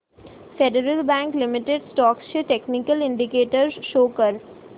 federal bank limited stocks चे technical indicators show कर